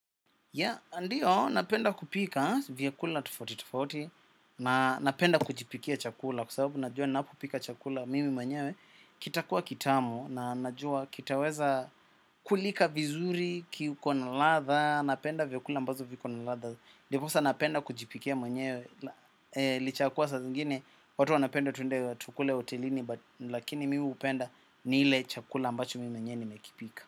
Ya, ndiyo, napenda kupika vyakula tofauti tofauti, na napenda kujipikia chakula kwa sababu najua napopika chakula mimi manyewe, kita kuwa kitamu, na najua kitaweza kulika vizuri, kiko na ladha, napenda vyakula ambazo viko na ladha, diposa napenda kujipikia manyewe, licha ya kua saa zingine, watu wanapenda twende tukule hotelini, lakini miu upenda ni ile chakula ambacho mimi mwenyewe ni mekipika.